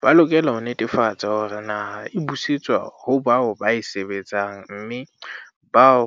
"Ba lokela ho netefatsa hore naha e busetswa ho bao ba e sebetsang mme bao